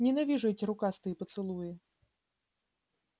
ненавижу эти рукастые поцелуи